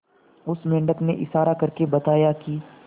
उस मेंढक ने इशारा करके बताया की